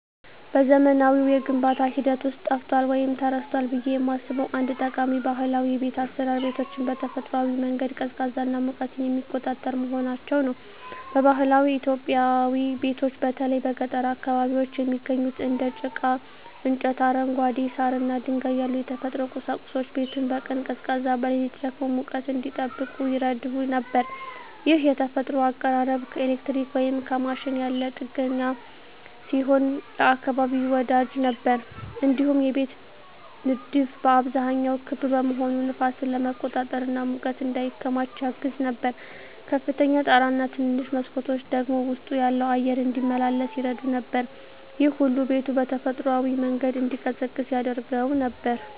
በዘመናዊው የግንባታ ሂደት ውስጥ ጠፍቷል ወይም ተረስቷል ብዬ የማስበው አንድ ጠቃሚ ባህላዊ የቤት አሰራር ቤቶችን በተፈጥሯዊ መንገድ ቀዝቃዛና ሙቀትን የሚቆጣጠር መሆናቸው ነው። በባህላዊ ኢትዮጵያዊ ቤቶች በተለይ በገጠር አካባቢዎች የሚገኙት እንደ ጭቃ፣ እንጨት፣ አረንጓዴ ሳር እና ድንጋይ ያሉ የተፈጥሮ ቁሳቁሶች ቤቱን በቀን ቀዝቃዛ፣ በሌሊት ደግሞ ሙቀት እንዲጠብቅ ይረዱ ነበር። ይህ የተፈጥሮ አቀራረብ ከኤሌክትሪክ ወይም ከማሽን ያለ ጥገኛ ሲሆን ለአካባቢ ወዳጅ ነበር። እንዲሁም የቤቶች ንድፍ በአብዛኛው ክብ መሆኑ ነፋስን ለመቆጣጠር እና ሙቀት እንዳይከማች ያግዝ ነበር። ከፍተኛ ጣራ እና ትንንሽ መስኮቶች ደግሞ ውስጡ ያለው አየር እንዲመላለስ ይረዱ ነበር። ይህ ሁሉ ቤቱ በተፈጥሯዊ መንገድ እንዲቀዝቅዝ ያደርገው ነበር።